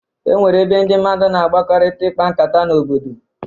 E nwere ebe ndị mmadụ na agbakọrịta ịkpa nkata n'obodo.